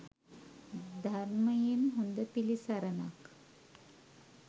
ධර්මයෙන් හොඳ පිළිසරණක්